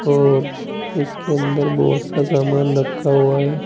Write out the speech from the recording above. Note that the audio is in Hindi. और इसके अंदर बहुत सा सामान रखा हुआ है।